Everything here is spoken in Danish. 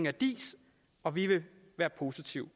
af diis og vi vil være positive